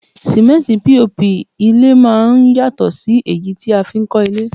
Símẹ́ntì POP ilé máá ń yàtọ̀ sí èyí tí a fi n kọ́ ilé